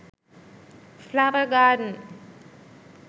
flower garden